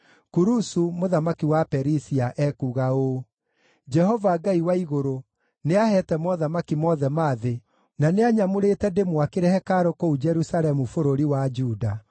“Kurusu, mũthamaki wa Perisia ekuuga ũũ: “ ‘Jehova, Ngai wa igũrũ, nĩaheete mothamaki mothe ma thĩ, na nĩanyamũrĩte ndĩmwakĩre hekarũ kũu Jerusalemu bũrũri wa Juda.